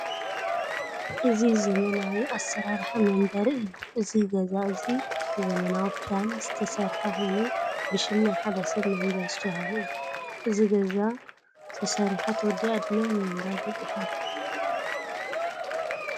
እዚ ዘመናዊ ኣሰራርሓ መንበሪ ገዛ እዩ። እዚ ገዛ እዚ ብዘመናዊ ፕላን ዝተሰርሓ ኮይኑ ብሽም ሓደ ሰብ መንበሪ ዝተወሃበ እዩ። እዛ ገዛ ተሰሪሓ ተወዲኣ ድማ ንምንባር በፂሓ ኣላ።